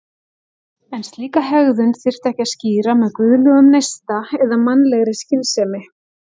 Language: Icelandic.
En slíka hegðun þyrfti ekki að skýra með guðlegum neista eða mannlegri skynsemi.